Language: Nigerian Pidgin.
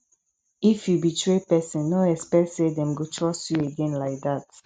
if you betray person no expect say dem go trust you again like that